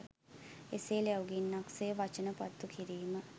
එසේ ලැව් ගින්නක් සේ වචන පත්තු කිරීම